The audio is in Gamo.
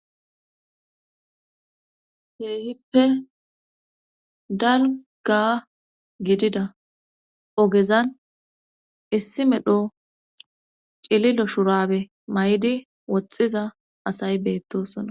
Keehippe dalga gidida ogezan issi medho cililo shurabe may'di woxxiza asayi beettosona